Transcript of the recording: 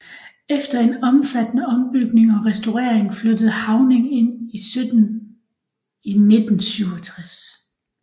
Efter en omfattende ombygning og restaurering flyttede Havning ind i 1967